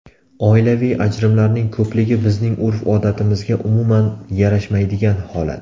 Oilaviy ajrimlarning ko‘pligi bizning urf-odatimizga umuman yarashmaydigan holat.